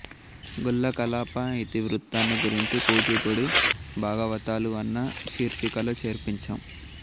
గొల్ల కలాప ఇతి వృత్తాన్ని గురుంచి కూచిపూడి భాగవతాలూ అన్న శీర్షికలో చర్చించాం